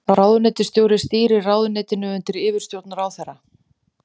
Ráðuneytisstjóri stýrir ráðuneytinu undir yfirstjórn ráðherra.